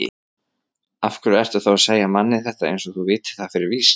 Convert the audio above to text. Af hverju ertu þá að segja manni þetta eins og þú vitir það fyrir víst?